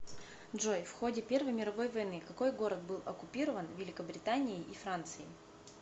джой в ходе первой мировой войны какой город был оккупирован великобританией и францией